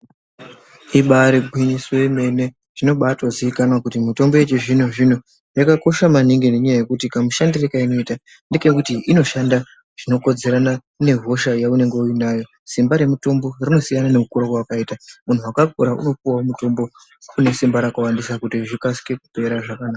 Imba ari gwinyiso yemene, zvinobatozikanwa kuti mitombo yechizvino-zvino yakakosha maningi ngenyaya yekuti kamushandiro keinoita inoshanda zvinokodzerana nehosha yeunenge uinayo, simba remutombo rinosiya nekukura kwawakaita. Muntu wakakura unopuwawo mutombo une simba rakawandisa kuti zvikasike kupera zvakanaka.